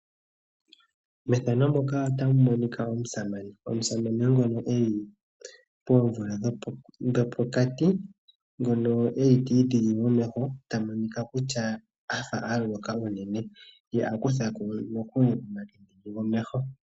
Methano muka otamu monika omusamane, omusamane ngono eli poomvula dhopokati ngono eli ti idhigi momeho ta monika kutya afa aloloka unene ye a kuthako omakende gomeho.